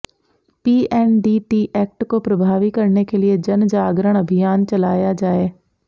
PNDT act को प्रभावी करने के लिए जनजागरण अभियान चलाया जाए